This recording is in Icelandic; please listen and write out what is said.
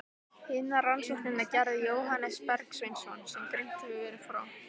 Hina rannsóknina gerði Jóhannes Bergsveinsson, sem greint hefur verið frá.